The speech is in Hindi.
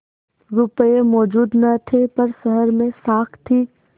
रुपये मौजूद न थे पर शहर में साख थी